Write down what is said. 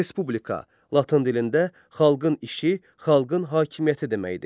Respublika Latın dilində xalqın işi, xalqın hakimiyyəti deməkdir.